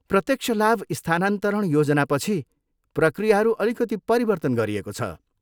प्रत्यक्ष लाभ स्थानान्तरण योजनापछि, प्रक्रियाहरू अलिकति परिवर्तन गरिएको छ।